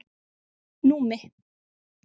Númi